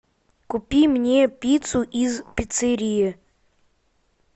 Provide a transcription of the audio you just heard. купи мне пиццу из пиццерии